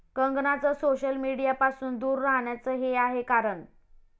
कंगनाचं social मीडियापासुन दूर राहण्याचं 'हे' आहे कारण!